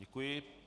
Děkuji.